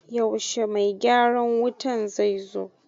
Yaushe mai gyaran wutan zai zo?